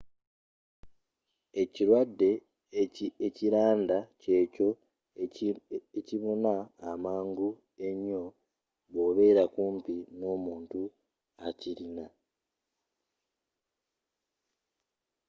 ekirwadde ekilanda kyekyo ekibuna amangu enyo bwobera kumpi n'omuntu akilina